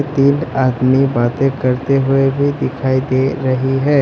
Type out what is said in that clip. एक आदमी बातें करते हुए भी दिखाई दे रही है।